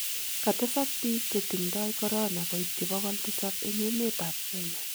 katesak biik che tingdoi korona koityi bokol tisap eng emetab Kenya